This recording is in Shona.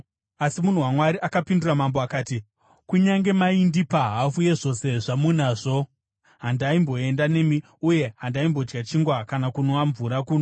Asi munhu waMwari akapindura mambo akati, “Kunyange maindipa hafu yezvose zvamunazvo, handaimboenda nemi, uye handaimbodya chingwa kana kunwa mvura kuno.